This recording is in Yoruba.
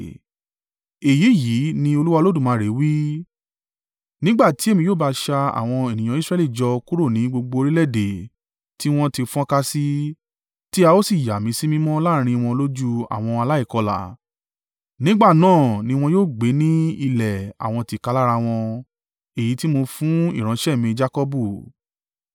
“ ‘Èyí yìí ní Olúwa Olódùmarè wí: Nígbà tí èmi yóò bá sa àwọn ènìyàn Israẹli jọ kúrò ní gbogbo orílẹ̀-èdè tí wọ́n ti fọ́nká sí, tí a ó sì yà mí sí mímọ́ láàrín wọn lójú àwọn aláìkọlà. Nígbà náà ni wọn yóò gbé ní ilẹ̀ àwọn tìkálára wọn, èyí tí mo fún ìránṣẹ́ mi Jakọbu.